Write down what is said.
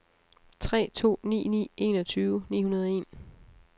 tre to ni ni enogtyve ni hundrede og en